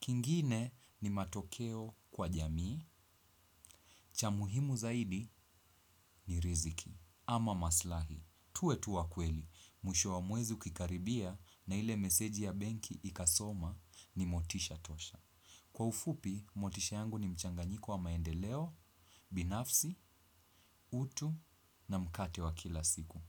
Kingine ni matokeo kwa jamii. Cha muhimu zaidi ni riziki. Ama maslahi, tuwe tu wakweli, mwisho wa mwezi ukikaribia na ile meseji ya benki ikasoma ni motisha tosha. Kwa ufupi, motisha yangu ni mchanganyiko wa maendeleo, binafsi, utu na mkate wa kila siku.